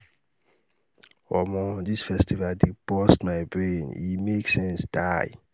omo dis festival dey burst my brain e make sense die.